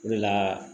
O de la